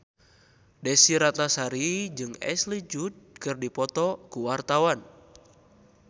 Desy Ratnasari jeung Ashley Judd keur dipoto ku wartawan